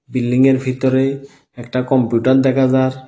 Building -এর ভিতরে একটা কম্পিউটার দেখা যার।